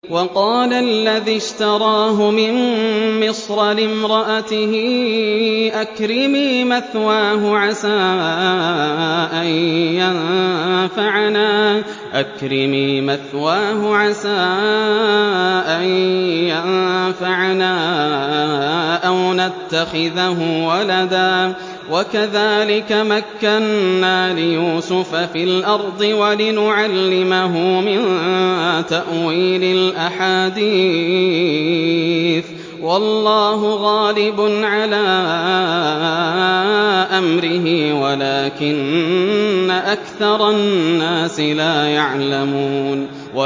وَقَالَ الَّذِي اشْتَرَاهُ مِن مِّصْرَ لِامْرَأَتِهِ أَكْرِمِي مَثْوَاهُ عَسَىٰ أَن يَنفَعَنَا أَوْ نَتَّخِذَهُ وَلَدًا ۚ وَكَذَٰلِكَ مَكَّنَّا لِيُوسُفَ فِي الْأَرْضِ وَلِنُعَلِّمَهُ مِن تَأْوِيلِ الْأَحَادِيثِ ۚ وَاللَّهُ غَالِبٌ عَلَىٰ أَمْرِهِ وَلَٰكِنَّ أَكْثَرَ النَّاسِ لَا يَعْلَمُونَ